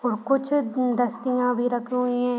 वह कुछ दस्तीया भी रखी हुई हैं ।